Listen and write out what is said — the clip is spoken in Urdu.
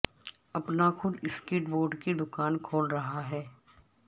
اپنا خود سکیٹ بورڈ کی دکان کھول رہا ہے